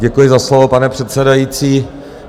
Děkuji za slovo, pane předsedající.